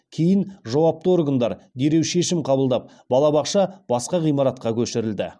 кейін жауапты органдар дереу шешім қабылдап балабақша басқа ғимаратқа көшірілді